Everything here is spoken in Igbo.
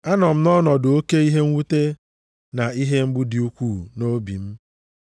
A nọ m nʼọnọdụ oke ihe mwute na ihe mgbu dị ukwuu nʼobi m.